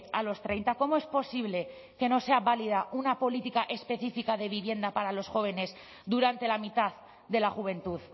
a los treinta cómo es posible que no sea válida una política específica de vivienda para los jóvenes durante la mitad de la juventud